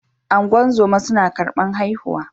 Ungozoma suna karban haihuwa.